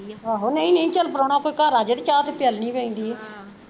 ਆਹੋ ਨਹੀਂ ਨਹੀਂ ਚੱਲ ਪਰਾਉਣਾ ਕੋਈ ਘਰ ਆਜੇ ਤੇ ਚਾਹ ਤੇ ਪਿਆਲਣੀ ਪੈਂਦੀ ਆ ਆਹ